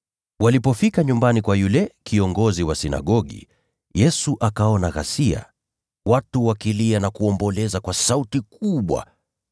Walipofika nyumbani kwa yule kiongozi wa sinagogi, Yesu akaona ghasia, watu wakilia na kuomboleza kwa sauti kubwa.